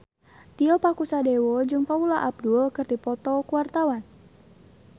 Tio Pakusadewo jeung Paula Abdul keur dipoto ku wartawan